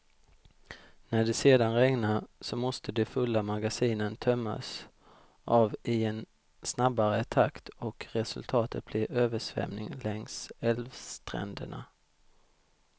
När det sedan regnar, så måste de fulla magasinen tömmas av i en snabbare takt och resultatet blir översvämning längs älvstränderna.